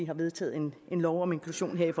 har vedtaget en lov om inklusion det er